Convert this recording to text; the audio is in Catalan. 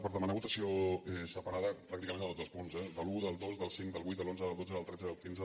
per demanar votació separada pràcticament de tots els punts eh de l’un del dos del cinc del vuit de l’onze del dotze del tretze del quinze